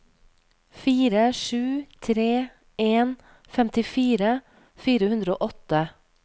fire sju tre en femtifire fire hundre og åtte